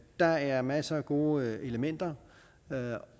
der er masser af gode elementer